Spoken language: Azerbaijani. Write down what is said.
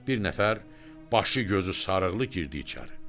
Bir nəfər başı gözü sarıqlı girdi içəri.